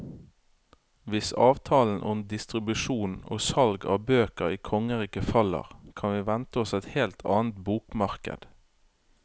Hvis avtalen om distribusjon og salg av bøker i kongeriket faller, kan vi vente oss et helt annet bokmarked.